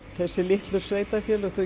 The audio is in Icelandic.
þessi litlu sveitarfélög þau